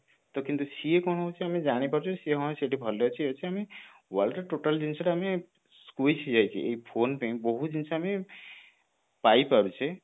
କିନ୍ତୁ ସିଏ କଣ ହଉଛି ଆମେ ଜାଣି ପାରୁଛେ ସେ ହଁ ସେଠି ଭଲରେ ଅଛି ଇଏ ଅଛି world ର total ଜିନିଷ ଟା ମାନେ squiz ହେଇ ଯାଇଛି ଏଇ phone ପାଇଁ ବହୁତ ଜିନିଷ ଆମେ ପାଇ ପାରୁଛେ